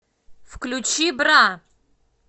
включи бра